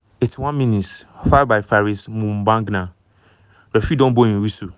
81 mins - foul by faris moumbagna referee don blow im whistle.